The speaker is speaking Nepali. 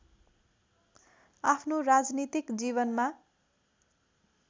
आफ्नो राजनीतिक जीवनमा